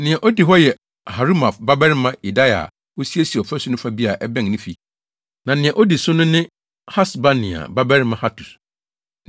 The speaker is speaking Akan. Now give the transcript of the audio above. Nea odi hɔ yɛ Harumaf babarima Yedaia a osiesiee ɔfasu no fa bi a ɛbɛn ne fi, na nea odi ne so ne Hasabnia babarima Hatus.